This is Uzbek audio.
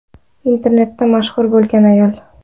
Internetda mashhur bo‘lgan ayol.